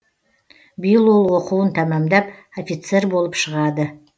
биыл ол оқуын тәмамдап офицер болып шығады